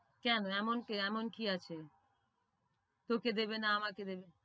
কেন এমন কি আছে? তোকে দেবে না আমাকে দেবে?